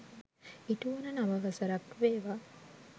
ඉටුවන නව වසරක් වේවා.